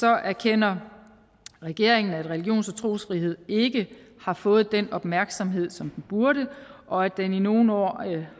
erkender regeringen at religions og trosfriheden ikke har fået den opmærksomhed som den burde og at den i nogle år